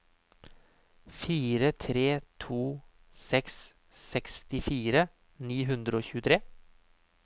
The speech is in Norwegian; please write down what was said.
fire tre to seks sekstifire ni hundre og tjuetre